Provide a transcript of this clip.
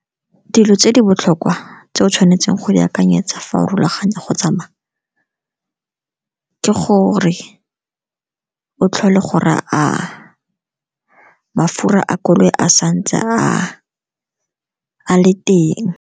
Dilo tse di botlhokwa tse o tshwanetseng go di akanyetsa farologanya go tsamaya, ke gore o tlhole gore a mafura a koloi a sa ntse a le teng.